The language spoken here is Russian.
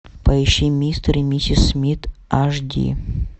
поищи мистер и миссис смит аш ди